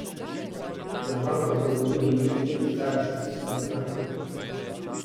Na bankah v domovini niti ni tečaja švicarskega franka.